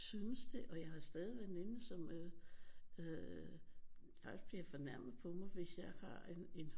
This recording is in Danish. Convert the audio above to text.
Syntes det og jeg har stadig veninder som øh faktisk bliver fornærmede på mig hvis jeg har en